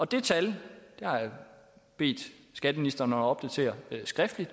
det tal har jeg bedt skatteministeren om at opdatere skriftligt